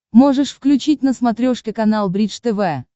можешь включить на смотрешке канал бридж тв